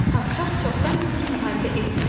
Padşah çoxdan idi ki, müharibə etmirdi.